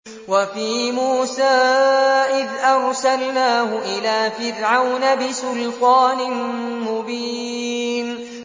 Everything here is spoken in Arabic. وَفِي مُوسَىٰ إِذْ أَرْسَلْنَاهُ إِلَىٰ فِرْعَوْنَ بِسُلْطَانٍ مُّبِينٍ